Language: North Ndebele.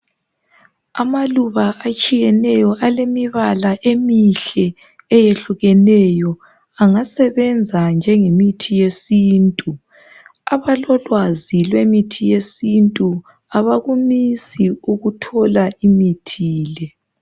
Amaluba atshiyeneyo alemibala emihle eyehlukeneyo engasebenza njenge mithi yesintu abalolwazi lwmithi yesintu abakumisi ukuthola imithile